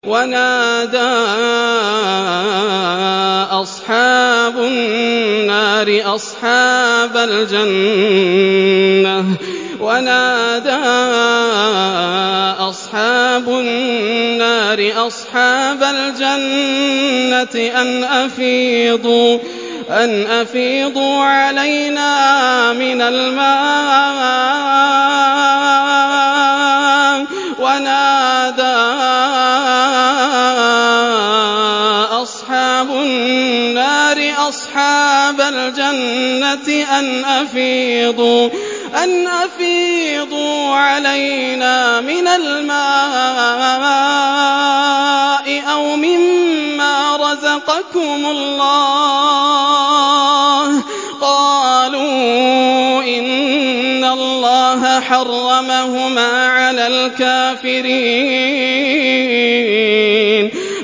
وَنَادَىٰ أَصْحَابُ النَّارِ أَصْحَابَ الْجَنَّةِ أَنْ أَفِيضُوا عَلَيْنَا مِنَ الْمَاءِ أَوْ مِمَّا رَزَقَكُمُ اللَّهُ ۚ قَالُوا إِنَّ اللَّهَ حَرَّمَهُمَا عَلَى الْكَافِرِينَ